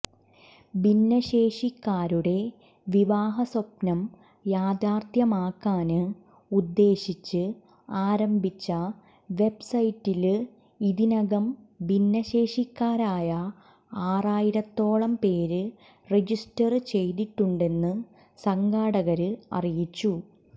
ഭിന്നശേഷിക്കാരുടെ വിവാഹ സ്വപ്നം യാഥാര്ഥ്യമാക്കാന് ഉദ്ദേശിച്ച് ആരംഭിച്ച വെബ്സൈറ്റില് ഇതിനകം ഭിന്നശേഷിക്കാരായ ആറായിരത്തോളം പേര് രജിസ്റ്റര് ചെയ്തിട്ടുണ്ടെന്ന് സംഘാടകര് അറിയിച്ചു